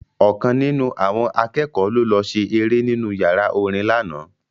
Ọ̀kan nínú àwọn akẹ́kọ̀ọ́ ló lọ ṣe eré nínú yàrá orin lánàá